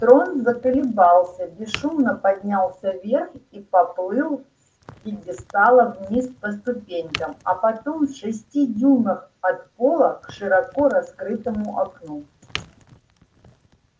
трон заколебался бесшумно поднялся вверх и поплыл с пьедестала вниз по ступенькам а потом в шести дюймах от пола к широко раскрытому окну